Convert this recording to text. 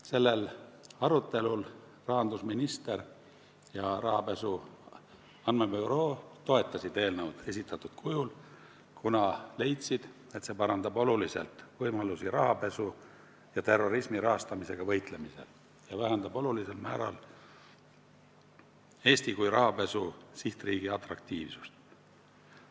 Sellel arutelul toetasid rahandusminister ja rahapesu andmebüroo esindaja eelnõu esitatud kujul, kuna leidsid, et see parandab oluliselt rahapesu ja terrorismi rahastamisega võitlemise võimalusi ja vähendab olulisel määral Eesti kui rahapesu sihtriigi atraktiivsust.